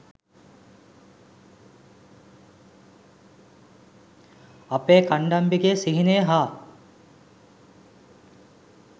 අපේ කණ්ඩම්බිගේ සිහිනය හා